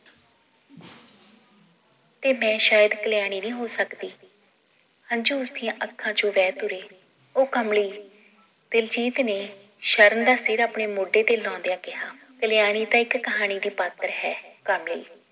ਤੇ ਮੈ ਸ਼ਾਇਦ ਕਲਿਆਣੀ ਨੀ ਹੋ ਸਕਦੀ ਹੰਜੂ ਉਸਦੀਆਂ ਅੱਖਾਂ ਚੋਂ ਬਹਿ ਤੁਰੇ ਉਹ ਕਮਲੀ ਦਿਲਜੀਤ ਨੇ ਸ਼ਰਨ ਦਾ ਸਿਰ ਆਪਣੇ ਮੋਢੇ ਤੇ ਲੌਂਦਿਆਂ ਕਿਹਾ ਕਲਿਆਣੀ ਤਾਂ ਇੱਕ ਕਹਾਣੀ ਦੀ ਪਾਤਰ ਹੈ ਕਮਲੀ